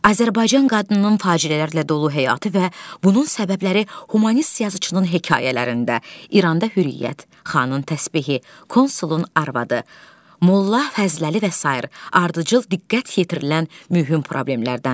Azərbaycan qadınının faciələrlə dolu həyatı və bunun səbəbləri hümanist yazıçının hekayələrində, İranda Hürriyyət, Xanın təsbehi, Konsulun arvadı, Molla Fəzləli və sair ardıcıl diqqət yetirilən mühüm problemlərdəndir.